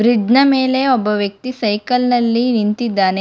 Bridge ನ ಮೇಲೆ ಒಬ್ಬ ವ್ಯಕ್ತಿ ಸೈಕಲ್ ನಲ್ಲಿ ನಿಂತಿದ್ದಾನೆ.